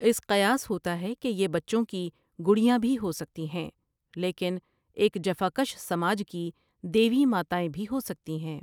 اس قیاس ہوتا ہے کہ یہ بچوں کی گڑیاں بھی ہوسکتی ہیں لیکن ایک جفاکش سماج کی دیوی ماتائیں بھی ہوسکتی ہیں ۔